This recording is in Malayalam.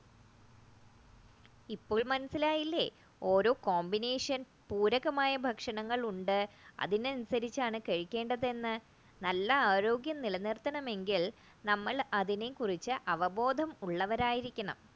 ഇപ്പോൾ മനസ്സിലായില്ലേ ഓരോ combination പൂരകമായ ഭക്ഷണങ്ങൾ ഉണ്ട് അതിനനുസരിച്ച് ആണ് കഴിക്കേണ്ടത് എന്ന് കഴിക്കേണ്ടത് എന്ന് നല്ല ആരോഗ്യം നിലനിർത്തണമെങ്കിൽ നമ്മൾ അതിനെക്കുറിച്ച് അപബോധം ഉള്ളവർ ആയിരിക്കണം